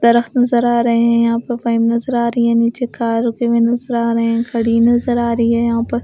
दरख़्त नजर आ रहे हैं यहाँ पर पाइप नजर आ रही है नीचे कार रुके हुए नजर आ रहे है खड़ी नजर आ रही है यहाँ पर।